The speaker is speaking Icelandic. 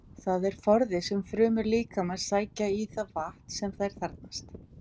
Það er forði sem frumur líkamans sækja í það vatn sem þær þarfnast.